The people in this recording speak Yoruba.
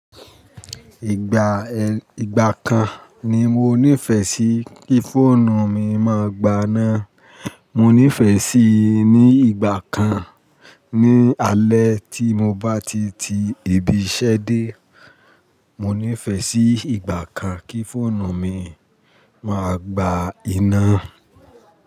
Ìgbà eh, ìgbà kan ni mo nífẹ̀ẹ́ sí kí fóònù mi máa gbaná. Mo nífẹ̀ẹ́ sí i ní ìgbà kan. Ni alẹ́ tí mo bá ti ti ibi iṣẹ́ dé, mo nífẹ̀ẹ́ sí ìgbà kan kí fóònù mi máa gba iná.